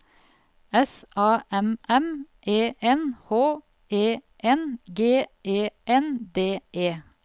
S A M M E N H E N G E N D E